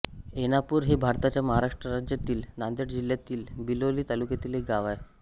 ऐनापूर हे भारताच्या महाराष्ट्र राज्यातील नांदेड जिल्ह्यातील बिलोली तालुक्यातील एक गाव आहे